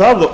held